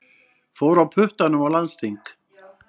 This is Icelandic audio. Fór á puttanum á landsþing